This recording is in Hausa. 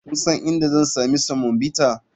Kun san inda zan sami semovita?